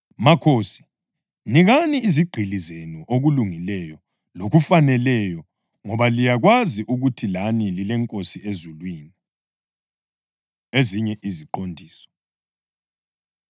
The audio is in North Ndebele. Makhosi, nikani izigqili zenu okulungileyo lokufaneleyo ngoba liyakwazi ukuthi lani lileNkosi ezulwini. Ezinye Iziqondiso